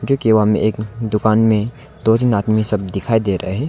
में एक दुकान में दो तीन आदमी सब दिखाई दे रहा है।